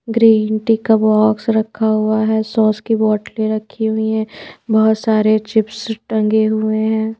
Green tea का box रखा हुआ है सॉस की बोतलें रखी हुई हैं बहुत सारे चिप्स टंगे हुए हैं ।